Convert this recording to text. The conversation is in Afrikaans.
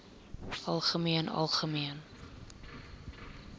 algemeen algemeen